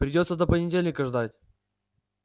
придётся до понедельника ждать